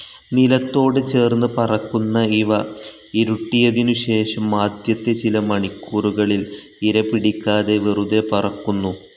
നിലത്തോട് ചേർന്ന് പറക്കുന്ന ഇവ ഇരുട്ടിയതിനു ശേഷം ആദ്യത്തെ ചില മണിക്കൂറുകളിൽ ഇരപിടിക്കാതെ വെറുതെ പറക്കുന്നു.